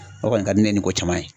O kɔni ka di ne ye ni ko caman ye.